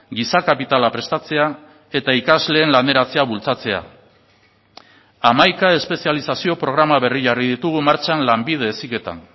giza kapitala prestatzea eta ikasleen laneratzea bultzatzea hamaika espezializazio programa berri jarri ditugu martxan lanbide heziketan